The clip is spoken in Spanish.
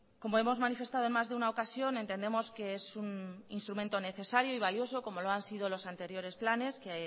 como hemos manifestado en más de una ocasión entendemos que es un instrumento necesario y valioso como lo han sido los anteriores planes que